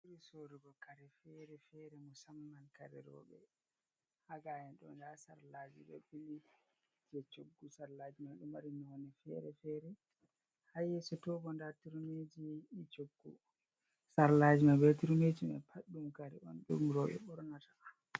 omi soorugo kare fere-fere musamman kare rowɓe, ha gaa'en ɗoo ndaa sarlaaji ɗo ɓili jey coggu, sarlaaji man ɗo mari nonɗe fere-fere. Ha yeeso too bo ndaa turmiiji ɗi coggu, sarlaaji man bee turmiiji man paɗ ɗum kare on ɗum rowɓe ɓornata.